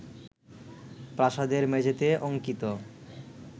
প্রাসাদের মেঝেতে অঙ্কিত